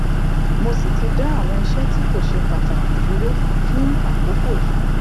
mo sì ti dá àwọn iṣẹ tí kò ṣe pàtàkì dúró fún àkókò yìí